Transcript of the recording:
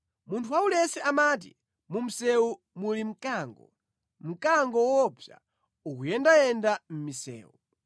Munthu waulesi amati, “Mu msewu muli mkango, mkango woopsa ukuyendayenda mʼmisewu!”